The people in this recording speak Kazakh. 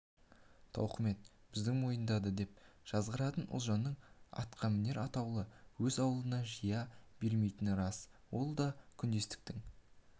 тауқымет біздің мойында деп жазғыратын ұлжанның атқамінер атаулыны өз аулына жия бермейтіні рас ол да күндестіктің